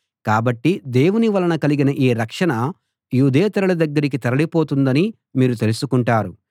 కాబట్టి దేవుని వలన కలిగిన ఈ రక్షణ యూదేతరుల దగ్గరికి తరలి పోతున్నదని మీరు తెలుసుకుంటారు